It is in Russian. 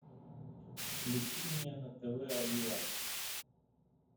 включи мне на тв олива